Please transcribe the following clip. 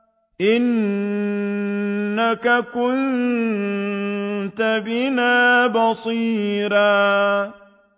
إِنَّكَ كُنتَ بِنَا بَصِيرًا